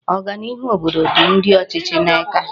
Oganiihu obodo di ndi ochichi n'aka